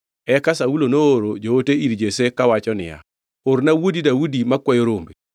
Eka Saulo nooro joote ir Jesse kawacho niya, “Orna wuodi Daudi makwayo rombe.”